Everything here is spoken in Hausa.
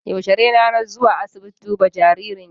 Yaushe ne ranar zuwa asiibiti duba jaririn ki?